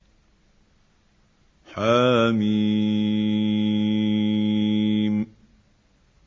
حم